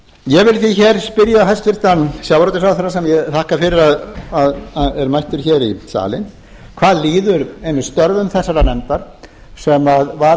ég vil því hér spyrja hæstvirtan sjávarútvegsráðherra sem ég þakka fyrir að er mættur hér í salinn hvað líður einmitt störfum þessarar nefndar sem var